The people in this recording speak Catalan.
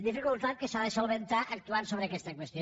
dificultat que s’ha de resoldre actuant sobre aquesta qüestió